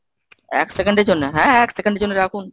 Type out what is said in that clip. এক second এর জন্য, হ্যাঁ এক second এর জন্য রাখুন।